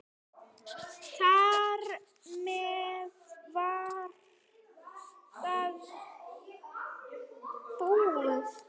Þar með var það búið.